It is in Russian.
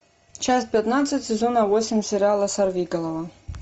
часть пятнадцать сезона восемь сериала сорвиголова